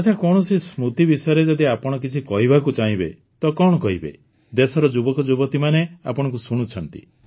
ଆଚ୍ଛା କୌଣସି ସ୍ମୃତି ବିଷୟରେ ଯଦି ଆପଣ କିଛି କହିବାକୁ ଚାହିଁବେ ତ କଣ କହିବେ ଦେଶର ଯୁବକଯୁବତୀମାନେ ଆପଣଙ୍କୁ ଶୁଣୁଛନ୍ତି